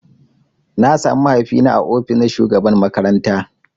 Na samu mahaifi na ã ofis na shugaban makaranta.